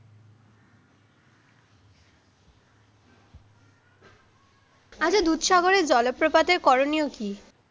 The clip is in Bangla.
আচ্ছা দুধ সাগরের জলপ্রপাতের করণীয় কী?